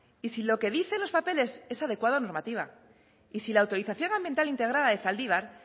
y si lo que dicen los papeles es adecuado a la normativa y si la autorización ambiental integrada de zaldibar